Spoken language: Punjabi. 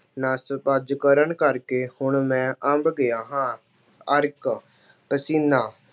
ਨੱਸ ਭੱਜ ਕਰਨ ਕਰਕੇ ਹੁਣ ਮੈਂ ਅੰਬ ਗਿਆ ਹਾਂ। ਅਰਕ- ਪਸੀਨਾ